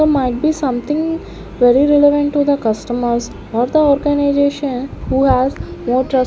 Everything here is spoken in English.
might be something very relevant to the customers or the organisation who has more tr --